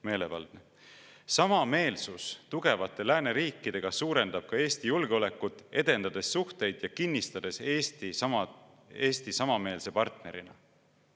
– V. V.] Samameelsus tugevate lääneriikidega suurendab ka Eesti julgeolekut, edendades suhteid ja kinnistades Eesti samameelse partnerina.